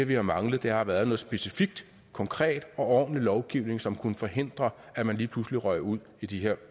vi har manglet har været noget specifik konkret og ordentlig lovgivning som kunne forhindre at man lige pludselig røg ud i de her